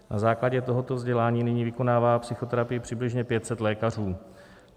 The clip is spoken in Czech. Na základě tohoto vzdělání nyní vykonává psychoterapii přibližně 500 lékařů.